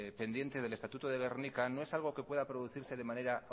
pendientes del estatuto de gernika no es algo que pueda producirse de manera